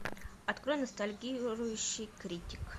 открой ностальгирующий критик